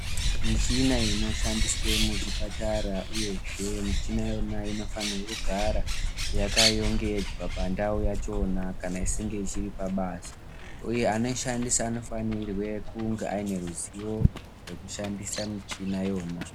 Michina inoshandiswe muzvipatara uyezve michina iyona inofanirwe kugara yakarongedzwa pandau yachona kana ichinge isiri pabasa uye anoishandise anofanirwe kunge aine ruzivo rwekushandise michina yona.